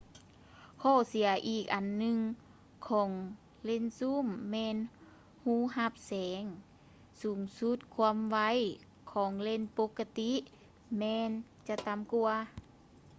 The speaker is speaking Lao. ຂໍ້ເສຍອີກອັນໜຶ່ງຂອງເລນຊູມ ແມ່ນຮູຮັບແສງສູງສຸດ ຄວາມໄວ ຂອງເລນປົກກະຕິແມ່ນຈະຕ່ຳກວ່າ